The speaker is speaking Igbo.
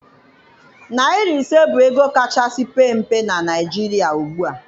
Naịra ise bụ ego kachasị pee mpe na Naịjirịa ugbua